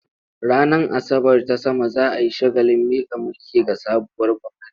Ranar Asabar ta sama za a yi shagalin miƙa mulki ga sabuwar gwamnati.